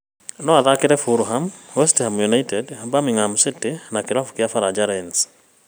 Noathakĩire Fulham, West Ham United, Birmingham City na kĩrabu kĩa baranja Lens